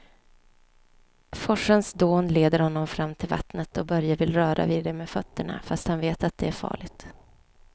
Forsens dån leder honom fram till vattnet och Börje vill röra vid det med fötterna, fast han vet att det är farligt.